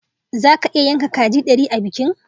Zaka iya yanka kaji dari a bikin?